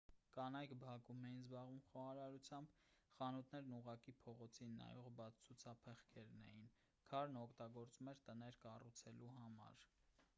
կանայք բակում էին զբաղվում խոհարարությամբ խանութներն ուղղակի փողոցին նայող բաց ցուցափեղկերն էին քարն օգտագործվում էր տներ կառուցելու համար